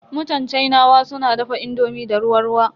Mutan Sinawa suna dafa indomi da ruwa ruwa.